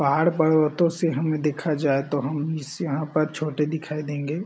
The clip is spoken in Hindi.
पहाड़ पर्वतों से हमें देखा जाए तो हम इस यहाँ पर छोटे दिखाई देंगे।